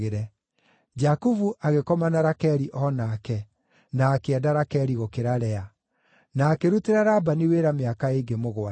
Jakubu agĩkoma na Rakeli o nake, na akĩenda Rakeli gũkĩra Lea. Na akĩrutĩra Labani wĩra mĩaka ĩngĩ mũgwanja.